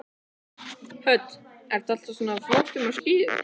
Hödd: Ertu alltaf svona flottur á skíðum?